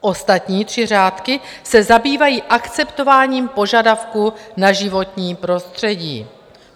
Ostatní tři řádky se zabývají akceptováním požadavků na životní prostředí.